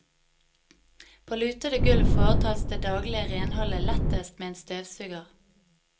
På lutede gulv foretas det daglige renholder lettest med en støvsuger.